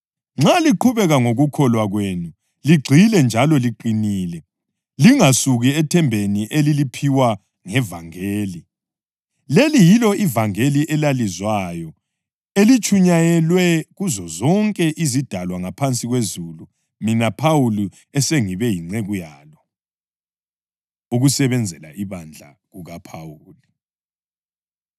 Nxa liqhubeka ngokukholwa kwenu ligxile njalo liqinile, lingasuki ethembeni eliliphiwa ngevangeli. Leli yilo ivangeli elalizwayo eselitshunyayelwe kuzozonke izidalwa ngaphansi kwezulu, mina Phawuli esengibe yinceku yalo. Ukusebenzela Ibandla KukaPhawuli